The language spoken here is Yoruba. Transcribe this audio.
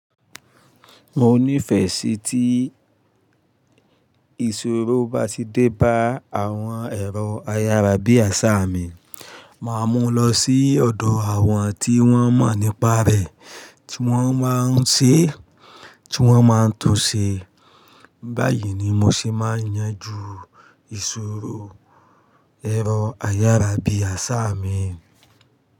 Mo nífẹ̀ẹ́ sí tí ìsòro bá ti dé bá àwọn ẹ̀rọ ayárabíàṣá mi, màá mú lọ sí ọ̀dọ̀ àwọn tí wọ́n mọ̀ nípa rẹ̀, tí wọ́n máa ń ṣe, tí wọ́n máa ń tún ṣe. Báyìí ni mo se máa yanjú ìsòro ẹ̀rọ ayárabíàṣá mi.